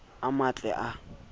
a mmatle a mo tlise